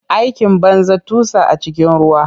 Aikin banza, tusa a cikin ruwa.